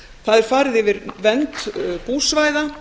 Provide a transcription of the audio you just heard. það er farið yfir vernd búsvæða